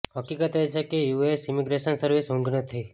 હકીકત એ છે કે યુએસ ઇમિગ્રેશન સર્વિસ ઊંઘ નથી